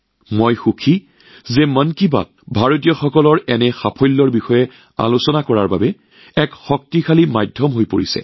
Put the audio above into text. মই আনন্দিত যে মন কী বাত ভাৰতীয়ৰ এনে কৃতিত্বক উজ্জ্বল কৰি তোলাৰ এক শক্তিশালী মাধ্যমত পৰিণত হৈছে